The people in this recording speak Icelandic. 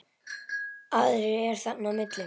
Aðrir eru þarna á milli.